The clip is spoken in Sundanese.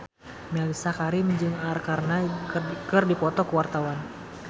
Mellisa Karim jeung Arkarna keur dipoto ku wartawan